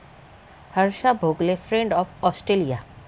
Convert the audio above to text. Harsha Bhogle 'friend of Australia'